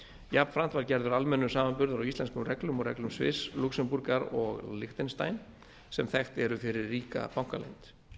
jafnframt er gerður almennur samanburður á íslenskum reglum og reglum sviss lúxemborgar og liechtenstein sem þekkt eru fyrir ríka bankaleynd